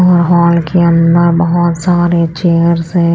ह हॉल के अंदर बहोत सारे चेयर्स है।